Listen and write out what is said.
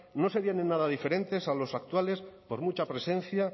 no serían en nada diferentes a los actuales por mucha presencia